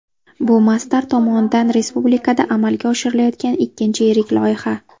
Bu Masdar tomonidan respublikada amalga oshirilayotgan ikkinchi yirik loyiha.